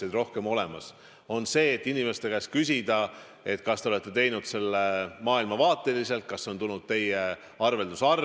On vaid võimalus inimeste käest küsida, kas te olete teinud selle maailmavaateliselt ja kas see on tulnud teie arvelduskontolt.